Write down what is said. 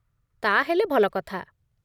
ତା'ହେଲେ ଭଲ କଥା !